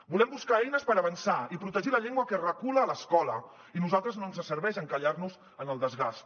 volem buscar eines per avançar i protegir la llengua que recula a l’escola i a nosaltres no ens serveix encallar nos en el desgast